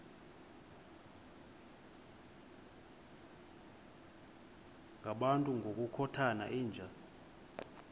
ngabantu ngokukhothana yinja